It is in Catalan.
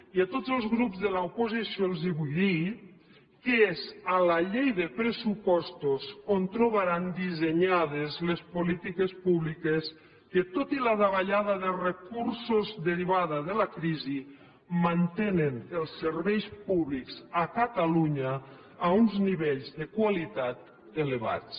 i a tots els grups de l’oposició els vull dir que és a la llei de pressupostos on trobaran dissenyades les polítiques públiques que tot i la davallada de recursos derivada de la crisi mantenen els serveis públics a catalunya a uns nivells de qualitat elevats